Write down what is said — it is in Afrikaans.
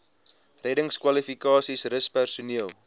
reddingskwalifikasies rus personeel